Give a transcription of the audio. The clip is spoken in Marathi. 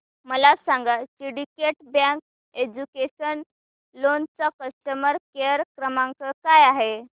मला सांगा सिंडीकेट बँक एज्युकेशनल लोन चा कस्टमर केअर क्रमांक काय आहे